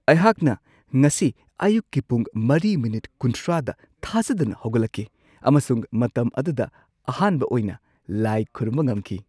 ꯑꯩꯍꯥꯛꯅ ꯉꯁꯤ ꯑꯌꯨꯛꯀꯤ ꯄꯨꯡ ꯴:꯳꯰ꯗ ꯊꯥꯖꯗꯅ ꯍꯧꯒꯠꯂꯛꯈꯤ ꯑꯃꯁꯨꯡ ꯃꯇꯝ ꯑꯗꯨꯗ ꯑꯍꯥꯟꯕ ꯑꯣꯏꯅ ꯂꯥꯏ ꯈꯨꯔꯨꯝꯕ ꯉꯝꯈꯤ ꯫